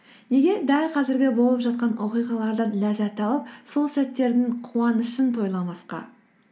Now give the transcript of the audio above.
неге дәл қазіргі болып жатқан оқиғалардан ләззат алып сол сәттердің қуанышын тойламасқа